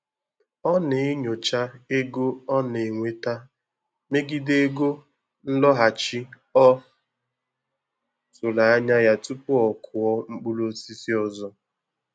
Ọ na-enyocha ego ọ na-enweta megide ego nlọghachi ọ tụrụ anya ya tupu ọ kụọ mkpụrụ osisi ọzọ